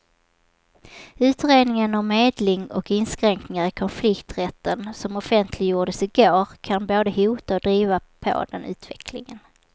Utredningen om medling och inskränkningar i konflikträtten som offentliggjordes i går kan både hota och driva på den utvecklingen.